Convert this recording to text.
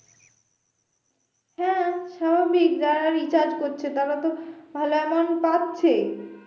হ্যাঁ স্বাভাবিক যারা recharge করছে তারা তো ভালো amount পাচ্ছেই